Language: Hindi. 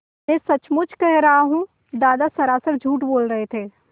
मैं सचमुच कह रहा हूँ दादा सरासर झूठ बोल रहे थे